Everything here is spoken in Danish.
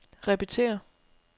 repetér